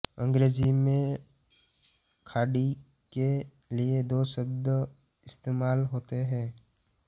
अंग्रेज़ी में खाड़ी के लिए दो शब्द इस्तेमाल होते हैं